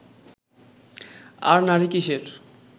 আর নারী কীসের